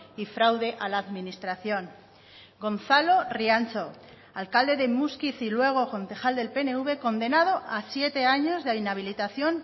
y fraude a la administración gonzalo riancho alcalde de muskiz y luego concejal del pnv condenado a siete años de inhabilitación